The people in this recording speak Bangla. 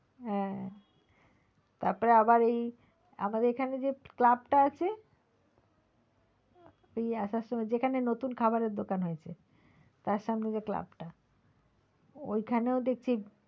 হ্যাঁ। তারপর আবার এই আমাদের এখানে যে club টা আছে ওই আসার সময় যেখানে নতুন খাবারের দোকান হয়েছে তার সামনে যে club টা ওইখানেও দেখছি,